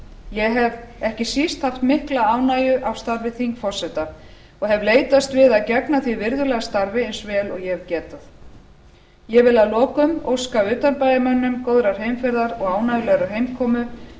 ég hef ekki síst haft mikilla ánægju af starfi þingforseta og hef leitast við að gegna því virðulega starfi eins vel og ég hef getað ég vil að lokum óska utanbæjarmönnum góðar heimferðar og ánægjulegrar heimkomu